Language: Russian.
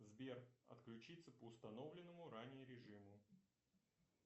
сбер отключиться по установленному ранее режиму